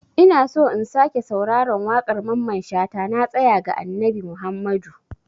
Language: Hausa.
Ina so in sake sauraron waƙar Mamman shata "Na tasaya ga Annabi Muhammadu".